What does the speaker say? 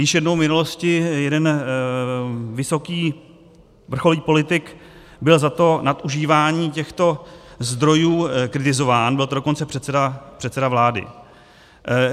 Již jednou v minulosti jeden vysoký vrcholný politik byl za to nadužívání těchto zdrojů kritizován, byl to dokonce předseda vlády.